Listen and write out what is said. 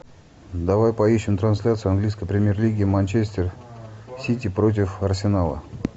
давай поищем трансляцию английской премьер лиги манчестер сити против арсенала